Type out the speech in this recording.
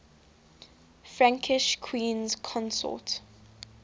frankish queens consort